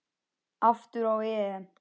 Aftur á EM.